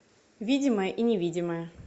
видимое и невидимое